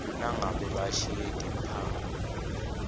nangabe bashiye timphawu